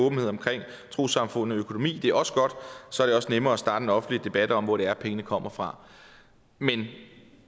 åbenhed om trossamfund og økonomi er også godt så er det også nemmere at starte en offentlig debat om hvor det er pengene kommer fra men